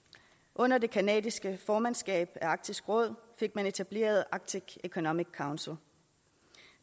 under det canadiske formandskab af arktisk råd fik man etableret arctic economic council